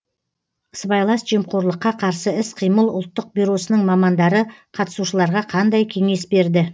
сыбайлас жемқорлыққа қарсы іс қимыл ұлттық бюросының мамандары қатысушыларға қандай кеңес берді